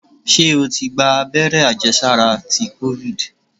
Ṣé o ti gba agbẹ́rẹ́ àjẹ sára ti kofid?